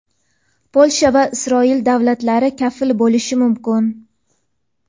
Polsha va Isroil davlatlari kafil bo‘lishi mumkin.